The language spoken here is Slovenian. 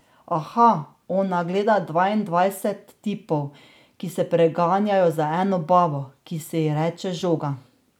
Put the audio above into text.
Aha, ona gleda dvaindvajset tipov, ki se preganjajo za eno babo, ki se ji reče žoga.